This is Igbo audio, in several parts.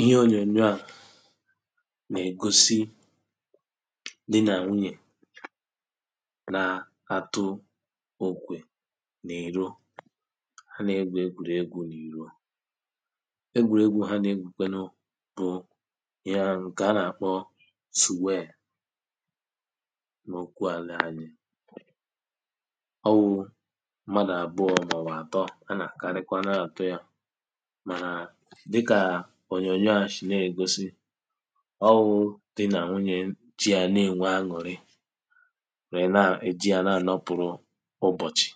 ihe ònyònyo à nà-ègosi di nà nwunyè na-atụ òkwè n’ìro ha nà-egwùri egwū n’ìro egwùregwū ha nà-egwùkwenu bụ ya nke a nà-àkpọ sùweè ̀ n’okwu àla anyị ọ wụ̄ mmadụ̀ àbụọ̄ màọ̀bụ̀ àtọ a nà-akarịkwa na-atụ ya mànà dịkà ònyònyo à sì na-ègosi ọ wụ̄ di nà nwunye ji ya na-ènwe an̄ụ̀rị wère na-èji ya na-ànọtụ̀rụ ụbọ̀chị̀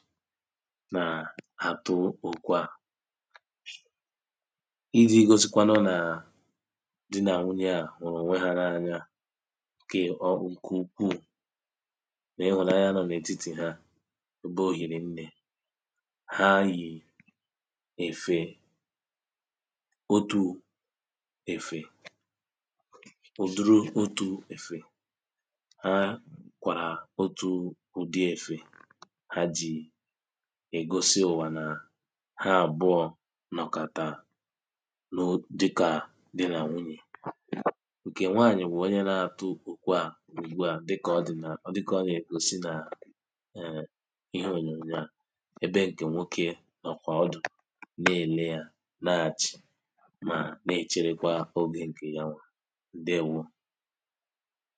na-àtụ òkwe à i jī gosikwanụ nà di nà nwuyē à hụ̀rụ̀ ònwe ya n’anya kè ọ ǹkè ukwuù nà ịhùnanya nọ n’ètitì ha bụ òhìrì nnē ha yì èfè otū èfè ụ̀dụrụ otū èfè ha kwàrà otū ụ̀dị èfè ha jì ègosi ùwà nà ha àbụọ̄ nọ̀kàtà nú dɪ́kà dí nà nʷúɲè ǹkè nwaànyị̀ wụ̀ onye na-atụ òkwe à ùgbuà dịkà ọ dị na dịka ọ nà-ègosi nà èè ihe ònyònyo à ebe ǹkè nwókē nọ̀kwà ọdọ̀ na-èle yā na-achị̀ mà na-ècherekwa ogē ǹkè ya nwà ǹdeèwo